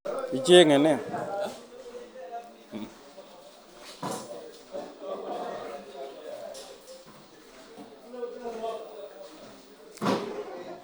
Icheng'e ne?